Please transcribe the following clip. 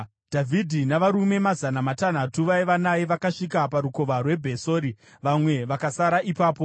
Dhavhidhi navarume mazana matanhatu vaiva naye vakasvika parukova rweBhesori, vamwe vakasara ipapo,